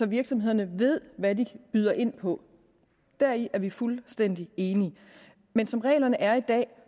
virksomhederne ved hvad de byder ind på deri er vi fuldstændig enige men som reglerne er i dag